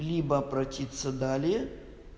либо обратиться далее